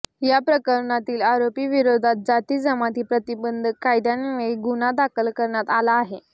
या प्रकरणातील आरोपीविरोधात जाती जमाती प्रतिबंधक कायद्यान्वये गुन्हा दाखल करण्यात आला आहे